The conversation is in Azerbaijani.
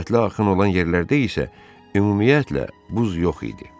Sürətli axın olan yerlərdə isə ümumiyyətlə buz yox idi.